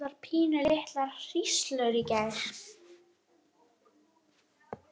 Voru þetta ekki bara pínulitlar hríslur í gær?